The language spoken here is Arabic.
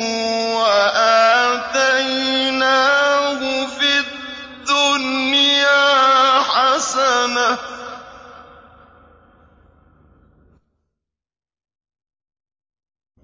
وَآتَيْنَاهُ فِي الدُّنْيَا حَسَنَةً ۖ